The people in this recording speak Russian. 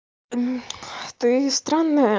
мм ты странная